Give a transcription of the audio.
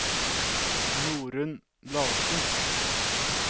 Norunn Larsen